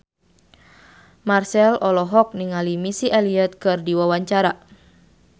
Marchell olohok ningali Missy Elliott keur diwawancara